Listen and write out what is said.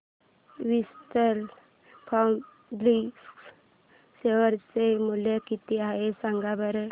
विशाल fabrics share चे मूल्य किती आहे सांगा बरं